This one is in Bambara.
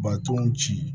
Ba tɔnw ci